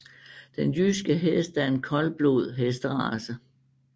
Den jyske hest er en koldblod hesterace